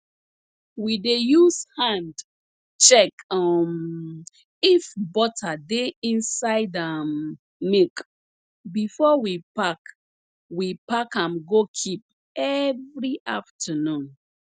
we dey use hand check um if butter dey inside um milk before we pack we pack am go keep every afternoon